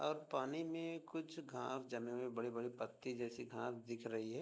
और पानी में कुछ घास जमी हुई बड़े-बड़े पत्ती जैसे घास दिख रही है।